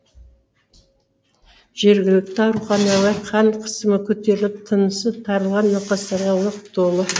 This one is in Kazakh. жергілікті ауруханалар қан қысымы көтеріліп тынысы тарылған науқастарға лық толы